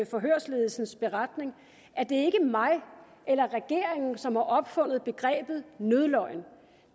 forhørsledelsens beretning at det er mig eller regeringen som har opfundet begrebet nødløgn